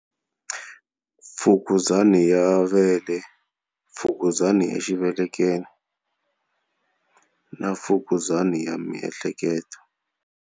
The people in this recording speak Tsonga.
Fukuzana ya vele, fukuzana ya xivelekelo na fukuzana ya miehleketo.